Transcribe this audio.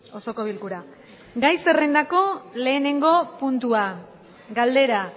osoko bilkura gai zerrendako lehenengo puntua galdera